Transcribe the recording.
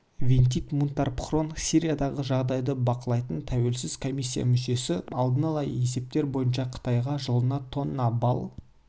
витит мунтарбхорн сириядағы жағдайды бақылайтын тәуелсіз комиссия мүшесі алдын ала есептер бойынша қытайға жылына тонна бал